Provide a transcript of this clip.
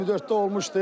24-də olmuşdu.